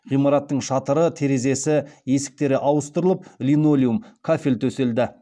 ғимараттың шатыры терезесі есіктері ауыстырылып линолеум кафель төселді